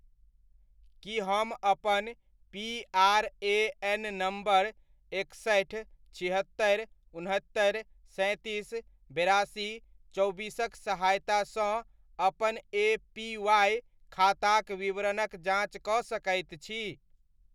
की हम अपन PRAN. Number एकसठि, छिहत्तरि, उनहत्तरि, सैंतीस, बेरासी, चौबीसक सहायता सँ अपन एपीवाय खाताक विवरणक जाँच कऽ सकैत छी ?